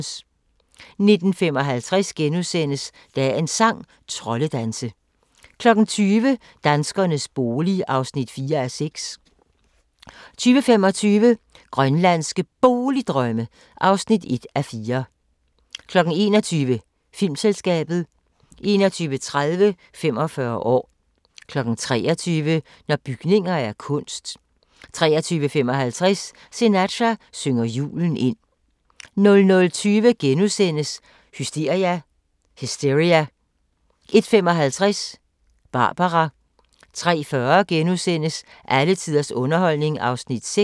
19:55: Dagens sang: Troldedanse * 20:00: Danskernes bolig (4:6) 20:25: Grønlandske Boligdrømme (1:4) 21:00: Filmselskabet 21:30: 45 år 23:00: Når bygninger er kunst 23:55: Sinatra synger julen ind 00:20: Hysteria * 01:55: Barbara 03:40: Alle tiders underholdning (6:8)*